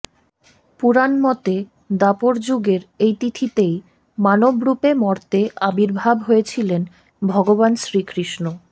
পুরাণ মতে দ্বাপর যুগের এই তিথিতেই মানবরূপে মর্তে আবির্ভাব হয়েছিলেন ভগবান শ্রীকৃষ্ণ